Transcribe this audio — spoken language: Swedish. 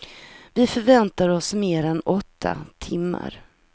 Vi förväntar oss mer än åtta timmar.